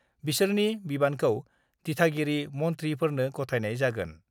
बिसोरनि बिबानखौ दिथागिरि मन्थ्रिफोरनो गथायनाय जागोन।